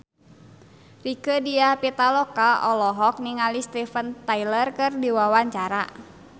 Rieke Diah Pitaloka olohok ningali Steven Tyler keur diwawancara